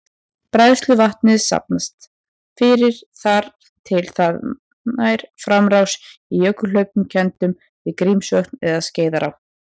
Bræðsluvatnið safnast fyrir þar til það nær framrás í jökulhlaupum kenndum við Grímsvötn eða Skeiðará.